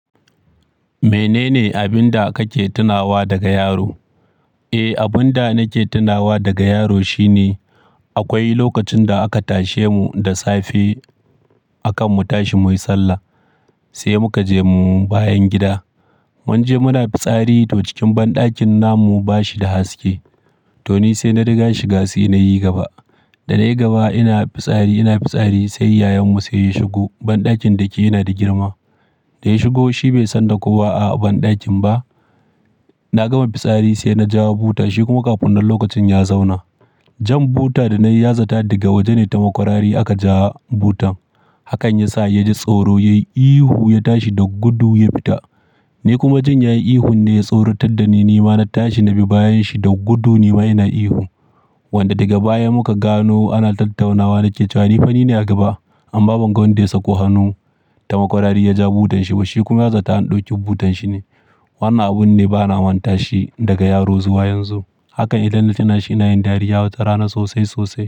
Menene abin da kake tunawa daga yaro? Eh, abin da nake tunawa daga yaro shine akwai lokacin da aka tashe mu da safe akan mu tashi muyi sallah, sai muka je mu bayan gida. Munje muna fitsari to cikin banɗakin namu ba shi da haske, to ni sai na riga shiga sai na yi gaba. Da na yi gaba ina fitsari, ina fitsari, sai yayan mu sai ya shigo, banɗakin da ke yana da girma. Da ya shigo shi bai san da kowa a banɗakin ba. Na gama fitsari sai na ja buta shi kuma ƙafinnan lokacin ya zauna. Jan buta da na yi ya zata daga waje ne ta makwarari aka ja butan. Hakan ya sa ya ji tsoro, ya yi ihu ya tashi da gudu ya fita. Ni kuma jin yayi ihun ne ya tsoratar da ni. Ni ma na tashi na bi bayan shi da gudu ni ma ina ihu. Wanda daga baya muka gano ana tattaunawa na ke cewa ni, Fani ne a gaba, amma ban ga wanda yasako hannu ta makwarari ya ja butan shi ba, Shi kuma ya zata an ɗauki butan shi ne. Wannan abun ne bana manta shi daga yaro zuwa yanzu. Hakan idan na tunashi ina yin dariya wata rana sosai-sosai.